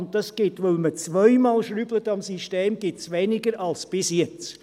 Das gibt, weil man zweimal am System schraubt, weniger als bisher.